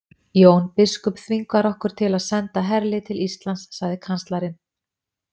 Jón biskup þvingar okkur til að senda herlið til Íslands, sagði kanslarinn.